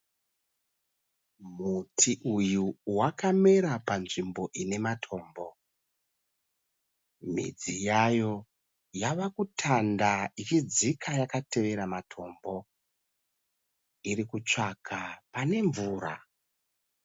Muti uyu wakamera panzvimbo inematombo midzi yayo yavakutanda ichidzika yakatevera matombo. Irikutsvaga panemvura